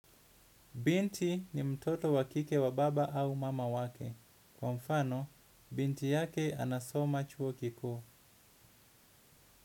Binti ni mtoto wakike wa baba au mama wake. Kwa mfano binti yake anasoma chuo kikuu.